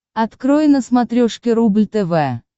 открой на смотрешке рубль тв